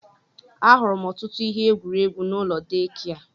Ahụrụ m ọtụtụ ihe egwuregwu n'ụlọ deekia.